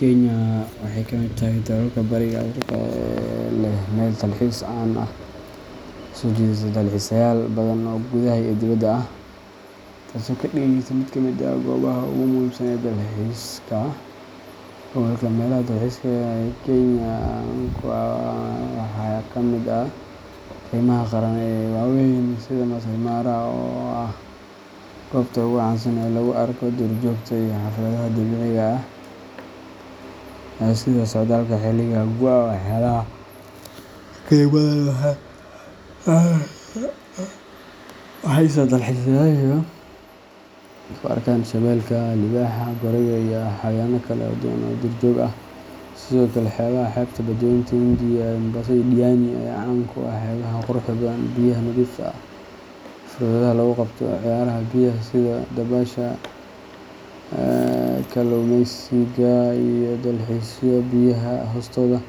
Kenya waxay ka mid tahay dalalka Bariga Afrika ee leh meel dalxiis caan ah oo soo jiidata dalxiisayaal badan oo gudaha iyo dibadda ah, taasoo ka dhigaysa mid ka mid ah goobaha ugu muhiimsan ee dalxiiska gobolka. Meelaha dalxiiska ee Kenya caan ku tahay waxaa ka mid ah keymaha qaran ee waaweyn sida Maasai Mara, oo ah goobta ugu caansan ee lagu arko duurjoogta iyo xafladaha dabiiciga ah sida socdaalka xilliga gu’ga ee xoolaha; keymadan waxay siisaa dalxiisayaasha fursad ay ku arkaan shabeelka, libaaxa, gorayga, iyo xayawaanno kale oo badan oo duurjoog ah. Sidoo kale, xeebaha xeebta Badweynta Hindiya sida Mombasa iyo Diani ayaa caan ku ah xeebaha quruxda badan, biyaha nadiifta ah, iyo fursadaha lagu qabto ciyaaraha biyaha sida dabaasha, kalluumaysiga, iyo dalxiiska biyaha hoostooda.